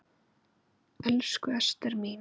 Elsku Ester mín.